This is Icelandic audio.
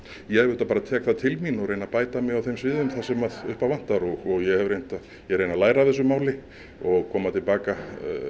ég auðvitað bara tek það til mín og reyni að bæta mig á þeim sviðum sem upp á vantar og ég reyni að læra af þessu máli og koma til baka